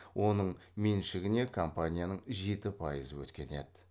оның меншігіне компанияның жеті пайызы өткен еді